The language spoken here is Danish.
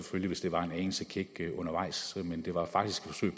hvis det var en anelse kækt undervejs men det var faktisk